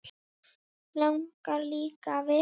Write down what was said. Langar líka að vita.